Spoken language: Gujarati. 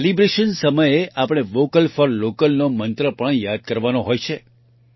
સેલિબ્રેશન સમયે આપણે વોકલ ફોર Localનોમંત્ર પણ યાદ કરવાનો હોય છે